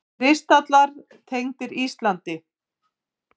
Kristallar tengdir Íslandi